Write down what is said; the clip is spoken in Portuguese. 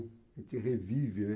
A gente revive, né?